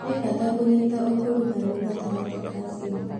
Nĩ bata kũnyita ũkuruhanu gatagatĩ ka ciũmbe.